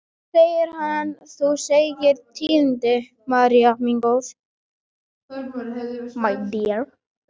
Loks segir hann: Þú segir mér tíðindin, María mín góð.